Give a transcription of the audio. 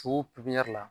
pipɲɛri